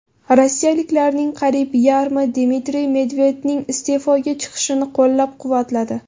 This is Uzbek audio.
Rossiyaliklarning qariyb yarmi Dmitriy Medvedevning iste’foga chiqishini qo‘llab-quvvatladi.